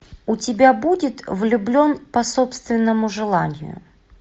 у тебя будет влюблен по собственному желанию